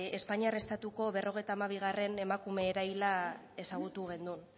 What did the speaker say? espainiar estatuko berrogeita hamabigarrena emakume eraila ezagutu genuen